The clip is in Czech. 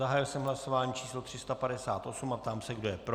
Zahájil jsem hlasování číslo 358 a ptám se, kdo je pro.